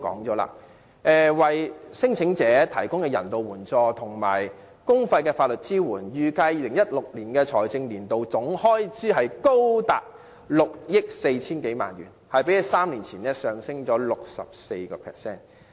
考慮到為聲請者提供人道援助及公費法律支援的開支，預計2016年財政年度的總開支高達6億 4,000 多萬元，較3年前上升 64%。